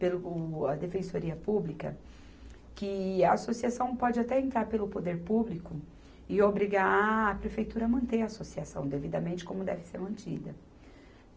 Pelo o, a defensoria pública, que a associação pode até entrar pelo poder público e obrigar a prefeitura a manter a associação devidamente como deve ser mantida.